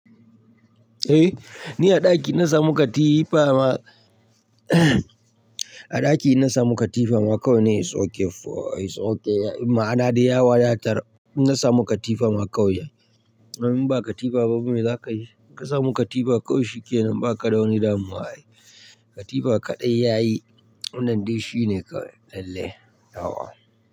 Ni a ɗaki na samu katifa ma. A ɗaki na samu katifa ma kawai ni, is okey is okey Ma'ana dai ya wadatar. Na samu katifa ma kawai ya. Amma in ba katifa babu mai za ka yi. Ka samu katifa kawai shikenan ba ka da wani damuwa. Katifa kaɗai yayi wannan dai shine kawai lalle. Nawa.